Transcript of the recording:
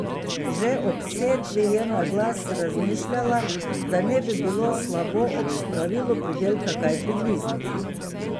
Že ob setvi je na glas razmišljala, da ne bi bilo slabo ob spravilu pridelka kaj prigrizniti.